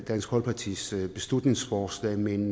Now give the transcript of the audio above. dansk folkepartis beslutningsforslag men